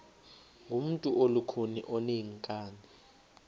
ngumntu olukhuni oneenkani